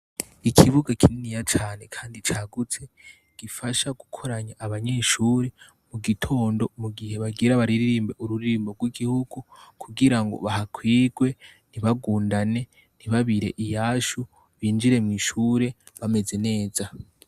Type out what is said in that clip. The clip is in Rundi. Ikibuga kinini cane kandi cagutse, gifasha gukoranya abanyeshure mugitondo mugihe bagira baririmbe ururirimbo rw’igihigu kugira ngo bahakwirwe, ntibagundane, ntibabire iyashu, binjire mw’ishure bameze neza.